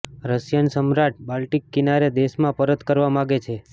Russian સમ્રાટ Baltic કિનારે દેશમાં પરત કરવા માગે છે